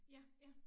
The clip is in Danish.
Ja ja